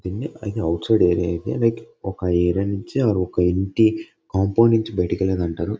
దీన్ని ఇది outside area ఇది. లైక్ ఒక ఏరియా ని నుంచి ఆ ఒక ఇంటి కాంపౌండ్ నుంచి బయటకు వెళ్లేది అంటారు.